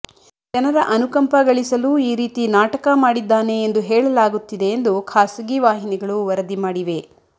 ಜನರ ಅನುಕಂಪ ಗಳಿಸಲು ಈ ರೀತಿ ನಾಟಕ ಮಾಡಿದ್ದಾನೆ ಎಂದು ಹೇಳಲಾಗುತ್ತಿದೆ ಎಂದು ಖಾಸಗಿ ವಾಹಿನಿಗಳು ವರದಿ ಮಾಡಿವೆ